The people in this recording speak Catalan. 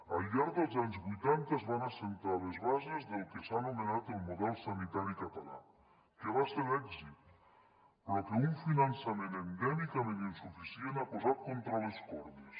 al llarg dels anys vuitanta es van assentar les bases del que s’ha anomenat el model sanitari català que va ser d’èxit però que un finançament endèmicament insuficient ha posat contra les cordes